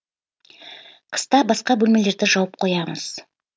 қыста басқа бөлмелерді жауып қоямыз